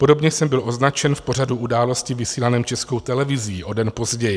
Podobně jsem byl označen v pořadu Události vysílaném Českou televizí o den později.